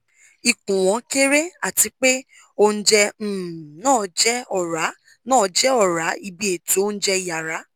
ikun won kere atipe ounje um na je ora na je ora ibi eto ounjẹ yara